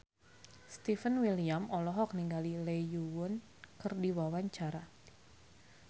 Stefan William olohok ningali Lee Yo Won keur diwawancara